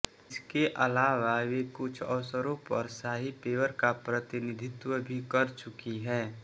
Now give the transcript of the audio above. इसके अलावा वे कुछ अवसरों पर शाही पेवर का प्रतिनिधित्व भी कर चुकी हैं